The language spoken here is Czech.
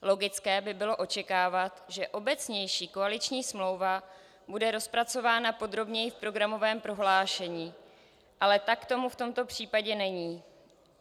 Logické by bylo očekávat, že obecnější koaliční smlouva bude rozpracována podrobněji v programovém prohlášení, ale tak tomu v tomto případě není.